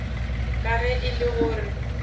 ka ge e le gore